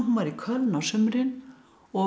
var í Köln á sumrin og